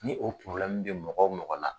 Ni o bi mɔgɔ o mɔgɔ la.